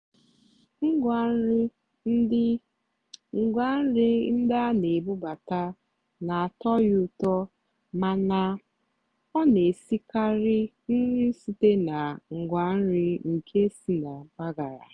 ngwá nrì ndí ngwá nrì ndí á nà-èbúbátá nà-àtọ́ yá ụ́tọ́ màná ọ́ nà-èsìkarị́ nrì sị́té nà ngwá nrì nkè sì nà mpàgàrà.